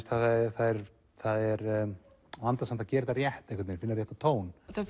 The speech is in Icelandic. það er það er vandasamt að gera þetta rétt finna réttan tón þegar